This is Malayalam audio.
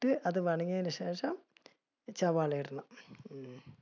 ഇട്ട് അത് ശേഷം, സവാള ഇടണം. ഉം